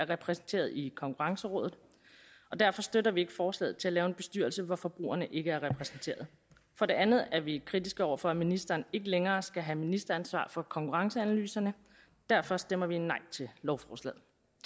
repræsenteret i konkurrencerådet og derfor støtter vi ikke forslaget om at lave en bestyrelse hvor forbrugerne ikke er repræsenteret for det andet er vi kritiske over for at ministeren ikke længere skal have ministeransvar for konkurrenceanalyserne derfor stemmer vi nej til lovforslaget